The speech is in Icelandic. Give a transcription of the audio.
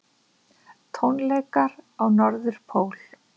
Tónleikar á Norðurpól